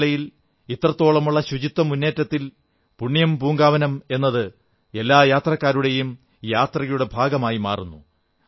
ശബരിമലയിൽ ഇത്രത്തോളമുള്ള ശുചിത്വമുന്നേറ്റത്തിൽ പുണ്യം പൂങ്കാവനം എന്നത് എല്ലാ ഭക്തരുടെയും തീർത്ഥാടനത്തിന്റെ ഭാഗമായി മാറുന്നു